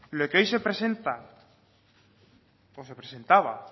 lo que hoy se presenta o se presentaba